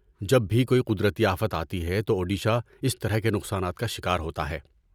جب بھی کوئی قدرتی آفت آتی ہے تو اوڈیشہ اس طرح کے نقصانات کا شکار ہوتا ہے۔